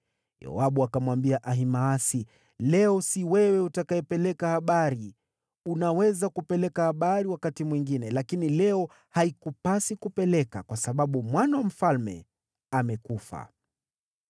Yoabu akamwambia Ahimaasi, “Leo si wewe utakayepeleka habari. Unaweza kupeleka habari wakati mwingine, lakini leo haikupasi kupeleka, kwa sababu mwana wa mfalme amekufa.”